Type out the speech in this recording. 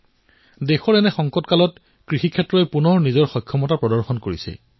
মই তেওঁলোকৰ পৰা যি শুনিছো আজি মন কী বাতত সেই কৃষকসকলৰ কিছু কথা মই আপোনালোকক শুনাব বিচাৰিছো